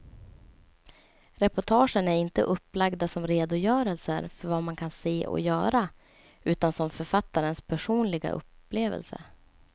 Reportagen är inte upplagda som redogörelser för vad man kan se och göra, utan som författarens personliga upplevelse.